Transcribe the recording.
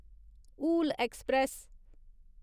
Hul express